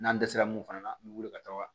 N'an dɛsɛra mun fana na an bɛ wuli ka taa wa